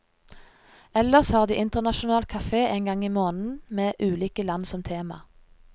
Ellers har de internasjonal cafe en gang i måneden med ulike land som tema.